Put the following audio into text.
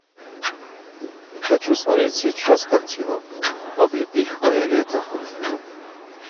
хочу смотреть сейчас картину облепиховое лето